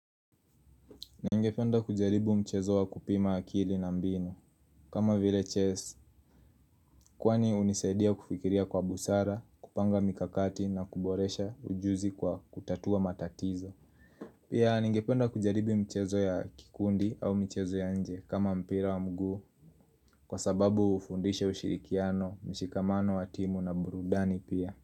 Ningependa kujaribu mchezo wa kupima akili na mbinu kama vile chess Kwani hunisedia kufikiria kwa busara, kupanga mikakati na kuboresha ujuzi kwa kutatua matatizo Pia ningependa kujaribu mchezo ya kikundi au mchezo ya nje kama mpira wa mguu Kwa sababu hufundishe ushirikiano, mshikamano wa timu na burudani pia.